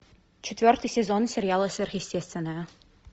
четвертый сезон сериала сверхъестественное